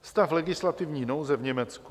Stav legislativní nouze v Německu.